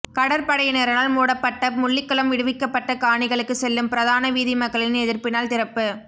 கடற்படையினரால் மூடப்பட்ட முள்ளிக்குளம் விடுவிக்கப்பட்ட காணிகளுக்கு செல்லும் பிரதான வீதி மக்களின் எதிர்ப்பினால் திறப்பு